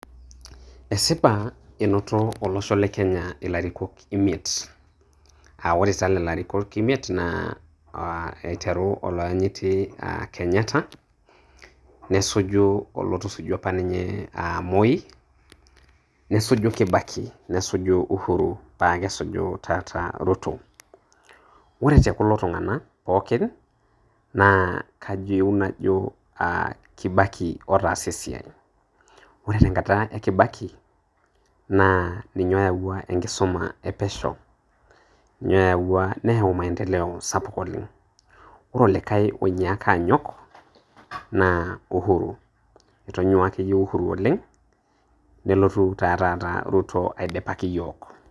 Esipa einoto olosho le Kenya ilarikok imiet aa kore taa lelo arikok imiet naa aiteru olaayiti Kenyatta nesuju olotusujua opa Moi nesuju Kibaki nesuju Uhuru paa kesuju taa taata Ruto. Ore te kulo tung'ana pookin naa kayieu najo Kibaki otaasa esiai , kore tenkata e Kibaki ninye oyauwa enkisuma e pesho, nayauwa neyau maendeleo sapuk oleng' ore olikai oinyakaa aanyok naa Uhuru, etonyua ake iyie Uhuru oleng' nelotu taa taata Ruto aidipaki iyiok .